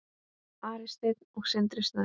Ari Steinn og Sindri Snær.